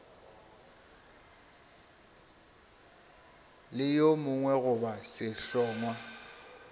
le yo mongwe goba sehlongwa